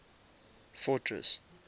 fortress